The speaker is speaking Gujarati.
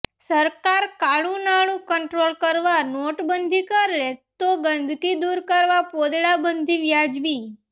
સરકાર કાળુ નાણુ કંટ્રોલ કરવા નોટબંધી કરે તો ગંદકી દુર કરવા પોદળાબંધી વ્યાજબી